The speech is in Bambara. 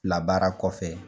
Labaara kɔfɛ